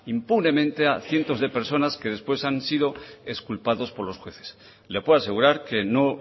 impunemente a cientos de personas que después han sido exculpados por los jueces le puedo asegurar que no